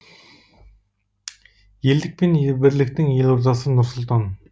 елдік пен бірліктің елордасы нұр сұлтан